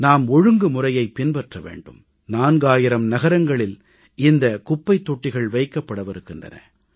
நாம் ஒழுங்குமுறையைப் பின்பற்ற வேண்டும் 4000 நகரங்களில் இந்தக் குப்பைத் தொட்டிகள் வைக்கப்படவிருக்கின்றன